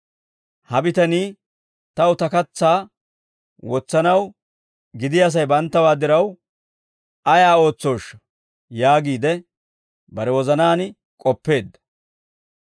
Ha bitanii, ‹Taw ta katsaa wotsanaw gidiyaa sa'ay banttawaa diraw ayaa ootsooshsha?› yaagiide, bare wozanaan k'oppeedda;